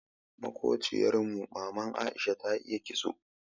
Makobciyar mu maman Aisha ta iya ƙitso.